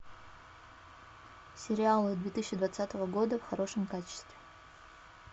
сериалы две тысячи двадцатого года в хорошем качестве